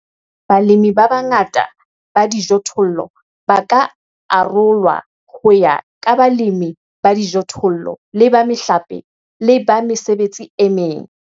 Balemi ba bangata ba dijothollo ba ka arolwa ho ya ka balemi ba dijothollo le ba mehlape le ba mesebetsi e meng.